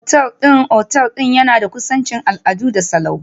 Otal ɗin otal ɗin yana da kusanci, al'adu da salo.